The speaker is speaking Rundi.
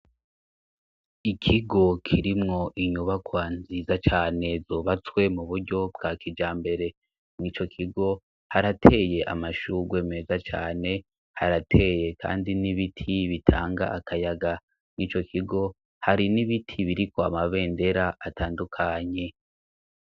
Ikigo kirimwo inyubakwa nziza cane zubatswe mu buryo bwa kija mbere n'i co kigo harateye amashurwe meza cane harateye, kandi n'ibiti bitanga akayaga n'i co kigo hari n'ibiti biri ko amabendera atandukanye.